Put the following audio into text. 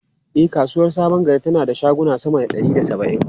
E, kasuwar Sabon Gari tana da shaguna sama da ɗari da saba’in.